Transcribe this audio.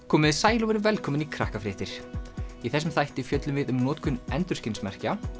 komiði sæl og verið velkomin í Krakkafréttir í þessum þætti fjöllum við um notkun endurskinsmerkja